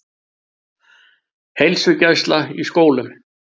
Heilsugæsla í skólum